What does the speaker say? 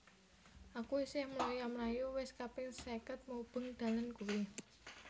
Aku isih mloya mlayu wis kaping seket mubeng dalan kui